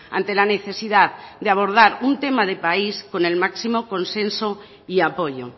ante la necesidad de abordar un tema de país con el máximo consenso y apoyo